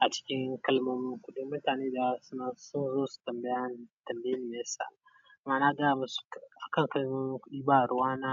a cikin kalmomin kuɗi. Mutane daya suna son su tambaya tambayine meyasa kuma nagaya musu akan kalmomin kuɗi ba ruwa na.